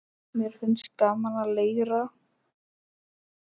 Mér finnst gaman að leira.